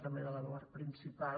també de l’eduard principal